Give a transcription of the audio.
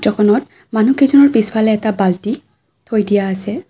খনত মানুহ কেইজনৰ পিছফালে এটা বাল্টি থৈ দিয়া আছে।